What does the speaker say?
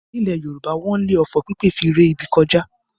Nílẹ̀ Yorùbá wọ́n le òfò pípè fi ré ibi kọjá.